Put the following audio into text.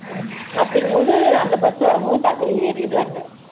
ஆமா அப்படிங்கும் போது அந்த bus வரும் போது டக்குன்னு ஏறிடுறாங்க